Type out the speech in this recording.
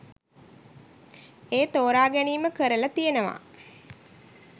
ඒ තෝරා ගැනීම කරලා තියෙනවා.